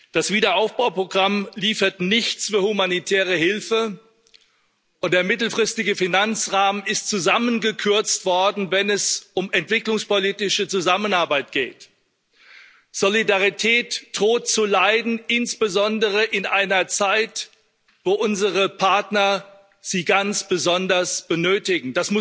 Das Wiederaufbauprogramm liefert nichts für humanitäre Hilfe, und der mittelfristige Finanzrahmen ist zusammengekürzt worden, wenn es um entwicklungspolitische Zusammenarbeit geht. Solidarität droht zu leiden, insbesondere in einer Zeit, wo unsere Partner sie ganz besonders benötigen.